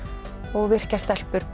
og virkja stelpur